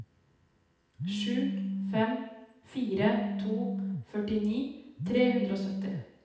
sju fem fire to førtini tre hundre og sytti